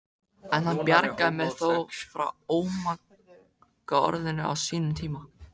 En hann bjargaði mér þó frá ómagaorðinu á sínum tíma.